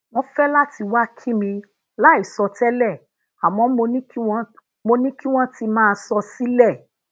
wón fé lati wa ki mi lai so tele àmó mo ní kí wón ti maa sọ sile